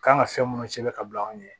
Kan ka fɛn minnu sɛbɛn ka bila anw ɲɛ